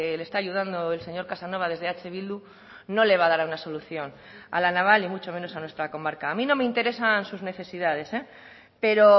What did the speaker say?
le está ayudando el señor casanova desde eh bildu no le va a dar una solución a la naval y mucho menos a nuestra comarca a mí no me interesan sus necesidades pero